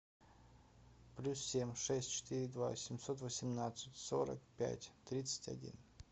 плюс семь шесть четыре два семьсот восемнадцать сорок пять тридцать один